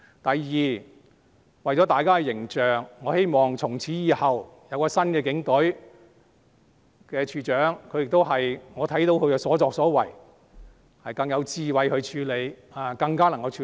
第二，為了大家的形象，我希望從此以後，有新的警隊，有新處長的帶領——我看到他的所作所為，他可以更有智慧的處理，也更加能處理。